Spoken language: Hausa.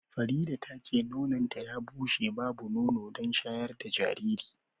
Farida tace nononta ya bushe babu nono don shayar da jariri.